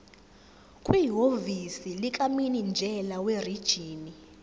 kwihhovisi likamininjela werijini